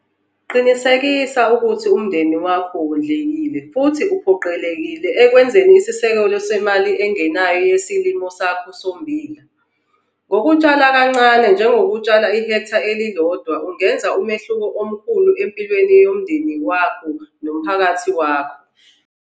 Qinisekisa ukuthi umndeni wakho wondlekile futhi uphokophelele ekwenzeni isisekelo semali engenayo yesilimo sakho sommbila. Ngokutshala kancane njengokutshala ihektha elilodwa, ungenza umehluko omkhulu empilweni yomndeni wakho nomphakathi wakho.